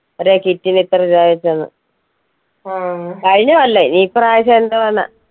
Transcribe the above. ഒരേ kit ന് ഇത്ര രൂപാ വെച്ച് തന്നു കഴിഞ്ഞ കൊല്ലം ഇനി ഈ പ്രാവശ്യം എന്തുവാന്ന